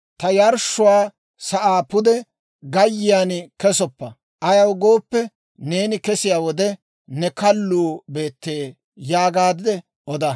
Ta yarshshuwaa sa'aa pude gayyiyaan kesoppa; ayaw gooppe, neeni kesiyaa wode, ne kalluu beette› yaagaadde oda.